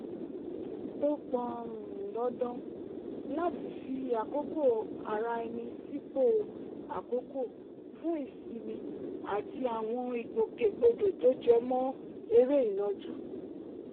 ó pọn um dandan láti fi àkókò ara ẹni sípò àkọ́kọ́ fún ìsinmi àti àwọn ìgbòkègbodò tó jẹ mọ́ eré ìnàjú